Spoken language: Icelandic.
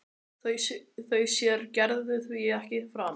Þau sér Gerður því ekki framar.